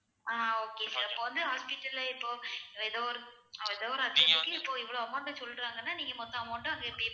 ஆஹ் okay sir இப்ப வந்து hospital ல இப்போ ஏதோ ஒரு ஏதோ ஒரு அவரசத்துக்கு இப்போ இவ்வளவு amount அ சொல்றாங்கன்னா நீங்க மொத்த amount ம் அங்க pay